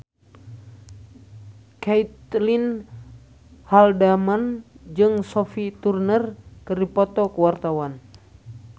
Caitlin Halderman jeung Sophie Turner keur dipoto ku wartawan